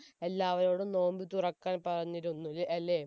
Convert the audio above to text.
എല്ലാവരോടും നോമ്പ് തുറക്കാൻ പറഞ്ഞിരുന്നു അല്ലെ